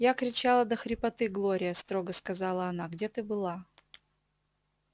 я кричала до хрипоты глория строго сказала она где ты была